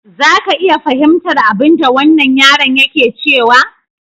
Za ka iya fahimtar abinda wannan yaron yake cewa?